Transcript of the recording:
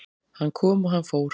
Hann kom og hann fór